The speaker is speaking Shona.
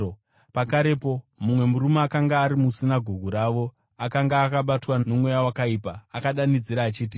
Pakarepo mumwe murume akanga ari musinagoge ravo akanga akabatwa nomweya wakaipa akadanidzira achiti,